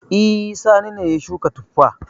E, Sani ne ya shuka tuffa.